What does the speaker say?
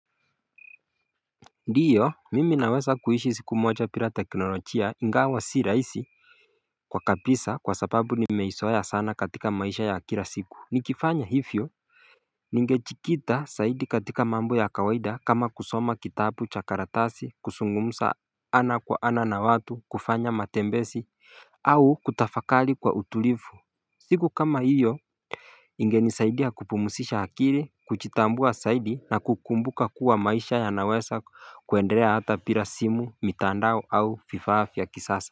Ndiyo mimi naweza kuishi siku moja bila teknolojia ingawa si rahisi kwa kabisa kwa sababu nimeizoea sana katika maisha ya kila siku Nikifanya hivyo Ningejikita zaidi katika mambo ya kawaida kama kusoma kitabu cha karatasi kuzungumza ana kwa ana na watu kufanya matembezi au kutafakari kwa utulivu siku kama hiyo Ingenisaidia kupumzisha akili kujitambua zaidi na kukumbuka kuwa maisha yanaweza kuendelea hata bila simu, mitandao au vifaa vya kisasa.